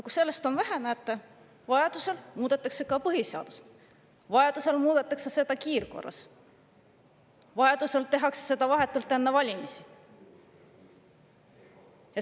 Kui sellest on vähe, siis näete, vajaduse korral muudetakse ka põhiseadust, vajaduse korral muudetakse seda kiirkorras, vajaduse korral tehakse seda vahetult enne valimisi.